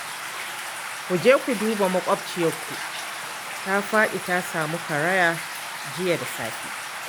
Ku je ku duba maƙwabciyarku ta faɗi ta samu karaya jiya da safe